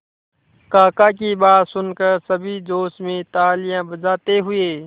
काका की बात सुनकर सभी जोश में तालियां बजाते हुए